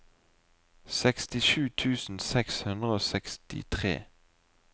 sekstisju tusen seks hundre og sekstitre